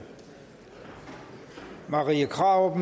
marie krarup